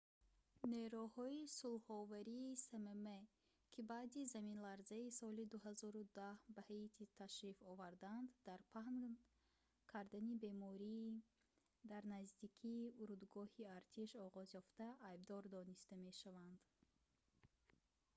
нерӯҳои сулҳовари смм ки баъди заминларзаи соли 2010 ба ҳаитӣ ташриф оварданд дар паҳн кардани бемории дар наздикии урдугоҳи артиш оғозёфта айбдор дониста мешаванд